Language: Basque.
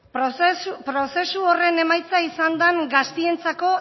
emon zoskun prozesu horren emaitza izan da gaztientzako